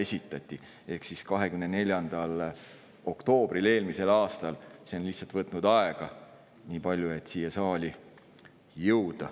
Lihtsalt see, et siia saali jõuaks, on võtnud nii palju aega.